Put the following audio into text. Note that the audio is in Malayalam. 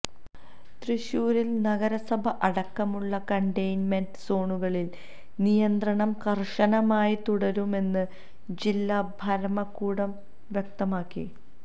തൃശൂരിൽ നഗരസഭ അടക്കമുള്ള കണ്ടെയ്ൻമെന്റ് സോണുകളിൽ നിയന്ത്രണം കർശനമായി തുടരുമെന്ന് ജില്ലാ ഭരമകൂടം വ്യക്തമാക്കി